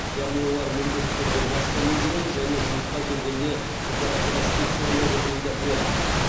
яғни олар міндетті түрде маскамен жүреді және жұмысқа келгенде температурасы тексеріледі дейді ол